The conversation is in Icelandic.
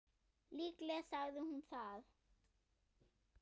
Líklega sagði hún það.